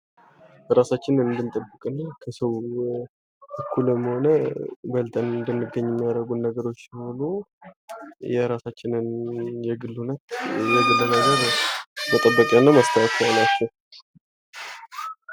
ራሳችንን የምንጠብቅበት ከሰው እኩልም ሆነ በልጠን እንድንገኝ ከሚያረጉን ነገሮች ሆኖ የራሳችንን የግል ነገር መጠበቂያ እና ማስተካከያ ናቸው።